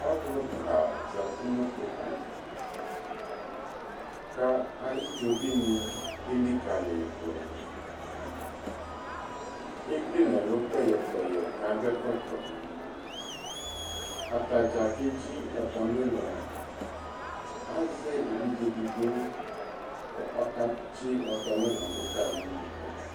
Ɔluka zati nu kpoku kayi idzovini elikayidu ekele nɛlu kpɛyɛ kakɔ ɛkɔtɔ atadza keki atami ulɔ azɛ evidze edigbo kɔka tsi atami ulɔ duka